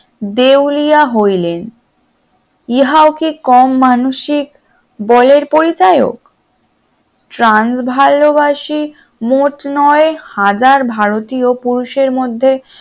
দেউলিয়া হইলেন ইহাও কি কম মানসিক বলের পরিচয় ভালোবাসি মোট নয় হাজার ভারতীয় পুরুষের মধ্যে